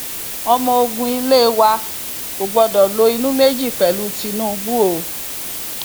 ọmọ ogun ilé wa kò gbọdọ lo inú méjì pẹlú tinubu o